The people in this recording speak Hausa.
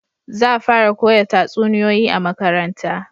Za fara koya tatsuniyoyi a makaranta